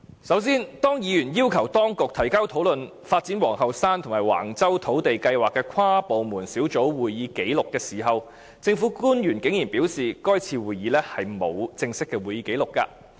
首先，當議員要求當局提交討論發展皇后山及橫洲土地計劃的跨部門小組會議紀錄時，政府官員竟然表示該次會議沒有正式的會議紀錄。